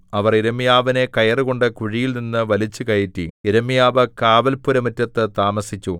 അവർ യിരെമ്യാവിനെ കയറുകൊണ്ട് കുഴിയിൽനിന്നു വലിച്ചുകയറ്റി യിരെമ്യാവ് കാവൽപ്പുരമുറ്റത്ത് താമസിച്ചു